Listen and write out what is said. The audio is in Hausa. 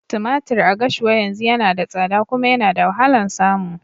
Tumatir a Gashua yanzu yana da tsada kuma yana da wahalan samu.